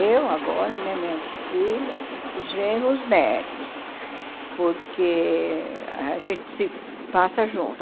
eu, agora, né minhas filhas, os genros, os netos, porque a gente se passa junto.